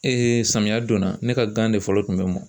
samiyɛ donna ne ka gan de fɔlɔ tun bɛ mɔn.